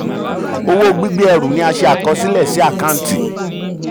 owó gbígbé ẹrù ni a ṣe àkọsílẹ̀ sí àkáǹtì.